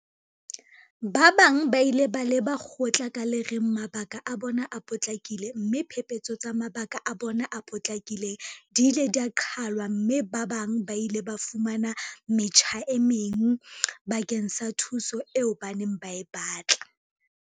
Ba bang ba ile ba leba kgotla ka le reng mabaka a bona a potlakile mme diphephetso tsa mabaka a bona a potlakileng di ile tsa qhalwa mme ba bang ba ile ba fumana metjha e meng bakeng sa thuso eo ba neng ba e batla.